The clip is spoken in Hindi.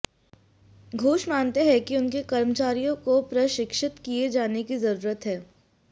घोष मानते हैं कि उनके कर्मचारियों को प्रशिक्षित किए जाने की जरूरत है